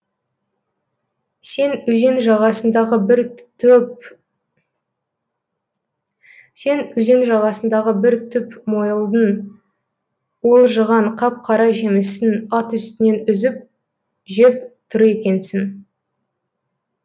сен өзен жағасындағы бір түп мойылдың уылжыған қап қара жемісін ат үстінен үзіп жеп тұр екенсің